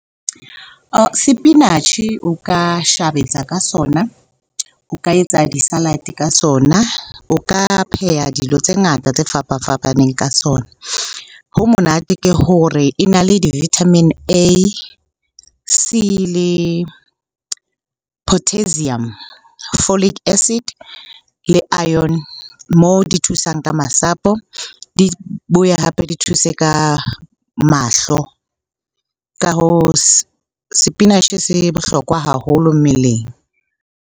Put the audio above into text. Sepinatjhe o ka ka sona, o ka etsa di-salad-e sona, o ka pheha dilo tse ngata tse fapafapaneng ka sona. Ho monate ke hore e na le di-vitamin A, C le potassium, folik acid le iron moo di thusang ka masapo, di boya hape di thuse ka mahlo. Ka hoo, sepinatjhe se bohlokwa haholo mmeleng.